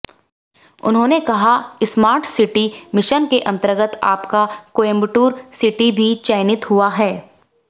उन्होंने कहा smart city mission के अंतर्गत आपका कोयंबटूर सिटी भी चयनित हुआ है